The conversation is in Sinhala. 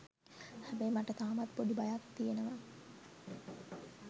හැබැයි මට තාමත් පොඩි බයක් තියෙනව